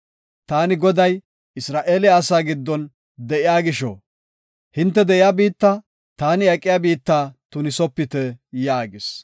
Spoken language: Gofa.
Taani, Goday Isra7eele asaa giddon de7iya gisho, hinte de7iya biitta, taani aqiya biitta tunisopite” yaagis.